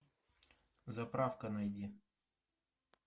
заправка найди